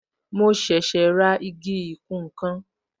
Mo ṣẹ̀ṣẹ̀ ra igi ìkùn nkan